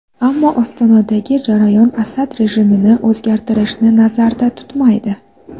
Ammo Ostonadagi jarayon Asad rejimini o‘zgartirishni nazarda tutmaydi.